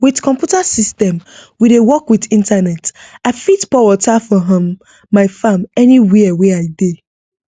with computer system wey dey work with internet i fit pour water for um my farm anywhere wey i dey